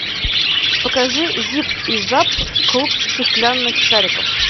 покажи зип и зап клуб стеклянных шариков